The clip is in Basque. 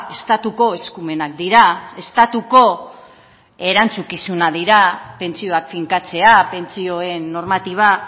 estatuko eskumenak dira estatuko erantzukizuna dira pentsioak finkatzea pentsioen normatiba